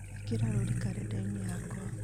ĩkĩra rũũri karenda-inĩ yakwa